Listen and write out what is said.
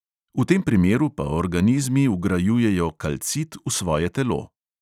V tem primeru pa organizmi vgrajujejo kalcit v svoje telo.